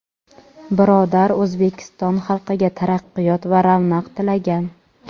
birodar O‘zbekiston xalqiga taraqqiyot va ravnaq tilagan.